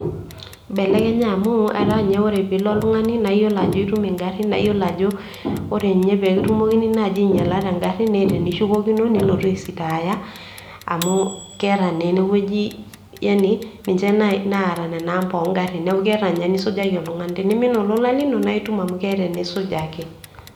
Ibelekenya amu eta ninye ore pilo oltung'ani na iyiolo ajo itum ingarrin, na iyiolo ajo ore ninye pekitumokini naji ainyila tengarri, neeta enishukokino nilotu aisitaya amu keeta na eneweuji yaani ninche naata nena amba ongarrin, niaku keeta ninye enisujaki oltungani, ore tenimin olola lino na itum amu keeta enisujaki.